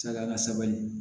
Saga ka sabali